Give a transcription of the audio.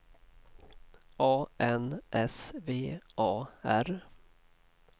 A N S V A R